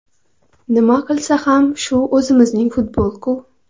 Nima qilsa ham shu o‘zimizning futbol-ku.